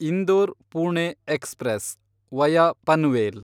Indore Pune express (via Panvel)